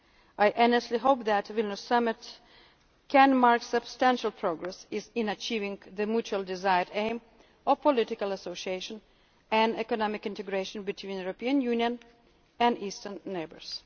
eastern neighbours. I earnestly hope that the Vilnius Summit can mark substantial progress in achieving the mutually desired aim of political association and economic integration between the European Union and its